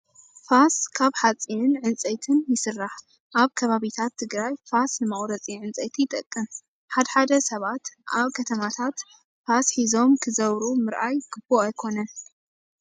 ፋስ ካብ ሓፂንን ዕንፀይትንም ይስራሕ። ኣብ ከባቢታት ትግራይ ፋስ ንመቁረፂ ዕንፀይቲ ይጠቅም። ሓደ ሓደ ሰባት ኣብ ከተማታት ፋስ ሒዞም ክዘውሩ ምርኣይ ይቡእ ኣይኾነን።